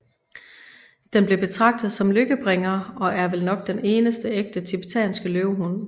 Den blev betragtet som lykkebringer og er vel nok den eneste ægte TIBETANSKE LØVEHUND